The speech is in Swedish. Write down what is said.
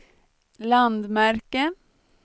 landmärke